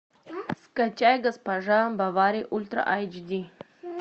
скачай госпожа бовари ультра айч ди